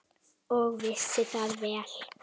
Og vissi það vel.